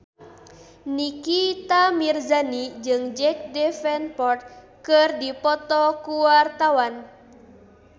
Nikita Mirzani jeung Jack Davenport keur dipoto ku wartawan